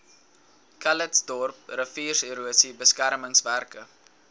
calitzdorp riviererosie beskermingswerke